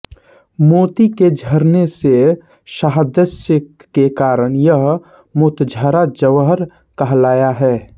मोती के झरने से साद्दश्य के कारण यह मोतझरा ज्वर कहलाया है